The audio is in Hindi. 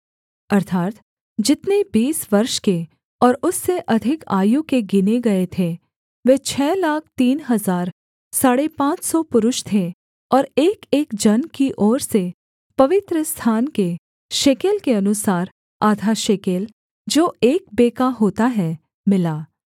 अर्थात् जितने बीस वर्ष के और उससे अधिक आयु के गिने गए थे वे छः लाख तीन हजार साढ़े पाँच सौ पुरुष थे और एकएक जन की ओर से पवित्रस्थान के शेकेल के अनुसार आधा शेकेल जो एक बेका होता है मिला